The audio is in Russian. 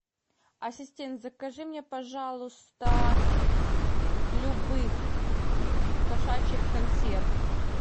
ассистент закажи мне пожалуйста любых кошачьих консерв